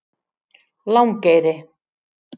Langeyri